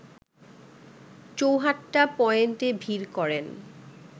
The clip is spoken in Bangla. চৌহাট্টা পয়েন্টে ভিড় করেন